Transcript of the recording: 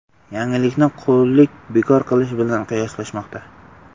Yangilikni qullik bekor qilinishi bilan qiyoslashmoqda.